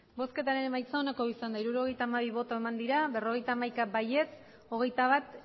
emandako botoak hirurogeita hamabi bai berrogeita hamaika ez hogeita bat